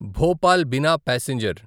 Bhopal Bina passenger